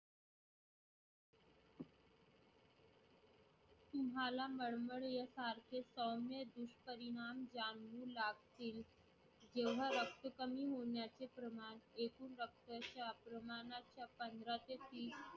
तुम्हाला मळमळ यासारखे सौम्य दुष्परिणाम जाणवू लागतील. जेव्हा रक्त कमी होण्याचे प्रमाण एकूण रक्ताच्या प्रमाणाच्या पंधरा ते तीस